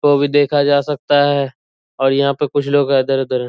वो भी देखा जा सकता है और यहाँ पे कुछ लोग इधर-उधर है।